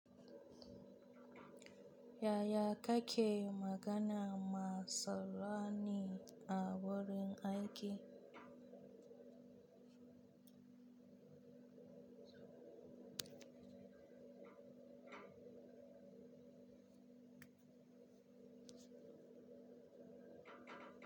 Yaya kake magana ma saloni a wurin aiki?